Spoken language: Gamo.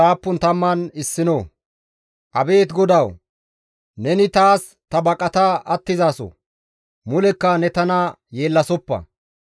Abeet GODAWU! Neni taas ta baqata attizaso; mulekka ne tana yeellasoppa.